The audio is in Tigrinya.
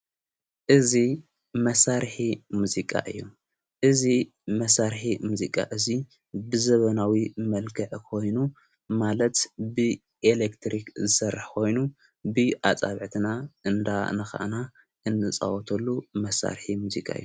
እዙ መሣርኂ ሙዚቃ እዮ እዙ መሣርኂ ሙዚቃ እዙይ ብዘበናዊ መልከዕ ኾይኑ ማለት ብኤሌክትሪክ ሠርሕ ኾይኑ ብ ኣፃብዐትና እንዳነኸእና እንፃወተሉ መሣርሕ ሙዚቃ እዩ፡፡